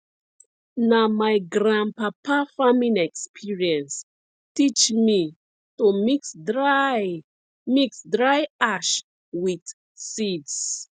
na my grandpapa farming experience teach me to mix dry mix dry ash with seeds